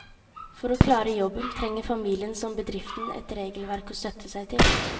For å klare jobben trenger familien som bedriften et regelverk å støtte seg til.